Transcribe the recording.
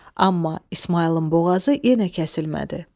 Amma İsmayılın boğazı yenə kəsilmədi.